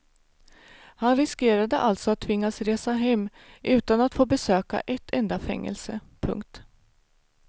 Han riskerade alltså att tvingas resa hem utan att få besöka ett enda fängelse. punkt